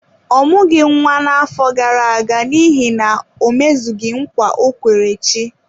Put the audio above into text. Ọ mụghị nwa na-afọ gara aga n’ihi na o mezughị nkwa ọ kwere chi.